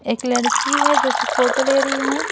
एक लड़की है जो कि फोटो ले रही है।